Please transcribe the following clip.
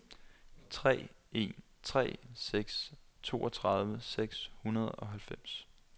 tre en tre seks toogtredive seks hundrede og halvfems